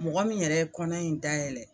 Mɔgɔ min yɛrɛ ye kɔnɔ in dayɛlɛ.